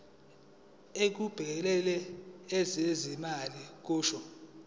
elibhekele ezezimali kusho